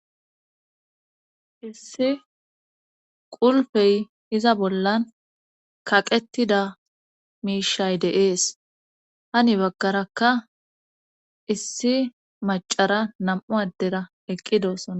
issi qulfey iza bollan kaqettida miishay deees hani baggaraka issi macara nam7u addera eqqidossona